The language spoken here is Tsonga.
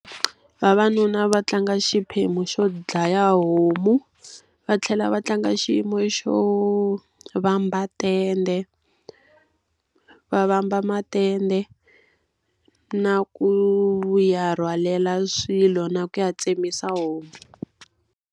Vavanuna va tlanga xiphemu xo dlaya homu, va tlhela va tlanga xiyimo xo vamba tende. Va vamba matende, na ku vuya rhwalela swilo na ku ya tsemisa homu.